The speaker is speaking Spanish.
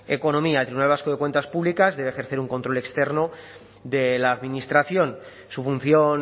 economía el tribunal vasco de cuentas públicas debe ejercer un control externo de la administración su función